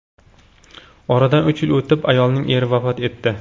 Oradan uch yil o‘tib, ayolning eri vafot etdi.